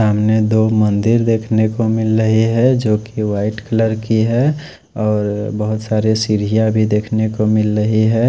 सामने दो मंदिर देख ने को मिल रहे है जो को वाइट कलर की है और बहत सारे सीड़ियाँ भी देख ने को मिल रहे है।